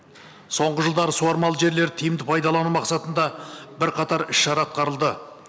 соңғы жылдары суармалы жерлер тиімді пайдалану мақсатында бірқатар іс шара атқарылды